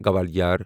Gwalior